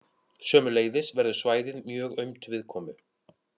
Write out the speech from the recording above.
Sömuleiðis verður svæðið mjög aumt viðkomu.